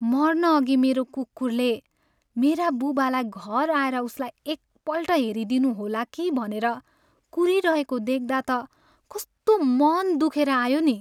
मर्नअघि मेरो कुकुरले मेरा बुबालाई घर आएर उसलाई एकपल्ट हेरिदिनुहोला कि भनेर कुरीरहेको देख्दा त कस्तो मन दुखेर आयो नि।